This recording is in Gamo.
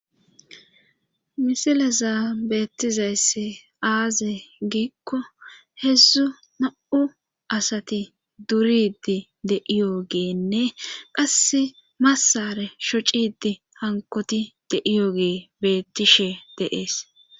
misileza beettizayssi aaze giikko hedzdzu na7u asati duridi de'iyogeenne qasse massare shocidi hankoti deiyogee beettishe de'ees